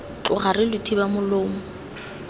tloga re lo thiba molomo